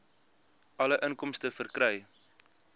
alle inkomste verkry